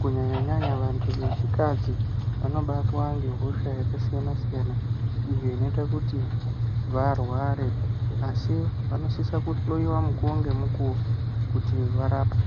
kunyanya nyanya vanthu vechikadzi vanobatwa ngehosha yakasiyana siyana iyo inoita kuti varware asi vanosisa kuhloyiwa mukuwo ngemukuwo kuti varapwe.